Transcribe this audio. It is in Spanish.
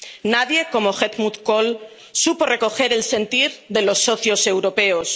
Nadie como Helmut Kohl supo recoger el sentir de los socios europeos.